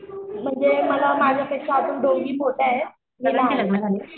म्हणजे मला माझ्यापेक्षा दोघी मोठ्या आहेत मी लहान आहे.